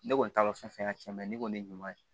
Ne kɔni t'a dɔn fɛn ka ca ne kɔni ye ɲuman ye